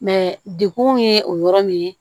dekun ye o yɔrɔ min ye